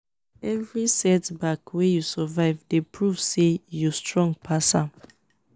evri setback wey yu survive dey prove say yu strong pass am